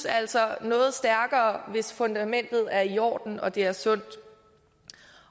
altså noget stærkere hvis fundamentet er i orden og det er sundt